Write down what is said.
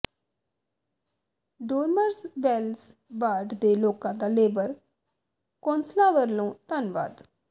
Dormers Wells ward ਦੇ ਲੋਕਾਂ ਦਾ ਲੇਬਰ ਕੌਾਸਲਰਾਂ ਵਲੋਂ ਧੰਨਵਾਦ